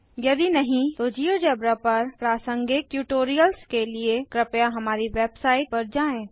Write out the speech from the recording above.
यदि नहीं तो जियोजेब्रा पर प्रासंगिक ट्यूटोरियल्स के लिए कृपया हमारी वेबसाइट httpspoken tutorialorg पर जाएँ